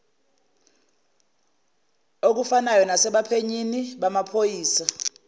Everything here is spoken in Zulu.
okufanayo nasebaphenyini bamaphoyisa